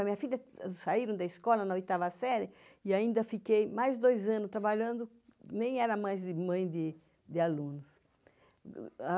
A minha filha saíram da escola na oitava série e ainda fiquei mais dois anos trabalhando, nem era mais mãe de alunos.